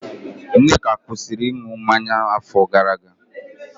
Nneka kwụsịrị ịṅụ mmanya n'afọ gara aga